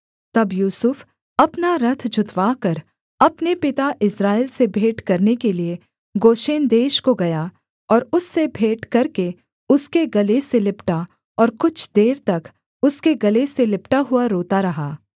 तब यूसुफ अपना रथ जुतवाकर अपने पिता इस्राएल से भेंट करने के लिये गोशेन देश को गया और उससे भेंट करके उसके गले से लिपटा और कुछ देर तक उसके गले से लिपटा हुआ रोता रहा